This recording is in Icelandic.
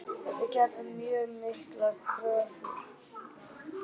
Við gerum mjög miklar kröfur.